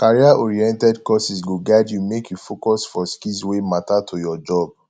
careeroriented courses go guide you make you focus for skills wey matter to your job